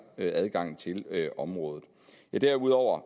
adgangen til området derudover